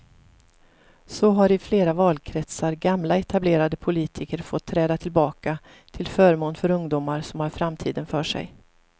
Så har i flera valkretsar gamla etablerade politiker fått träda tillbaka till förmån för ungdomar som har framtiden för sig.